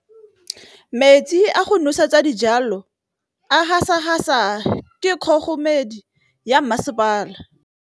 Metsi a go nosetsa dijalo a gasa gasa ke kgogomedi ya masepala.